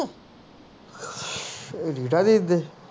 ਰੀਟਾ ਦੇ